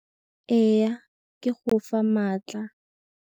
Go tsenngwa mo metsing a bolelo.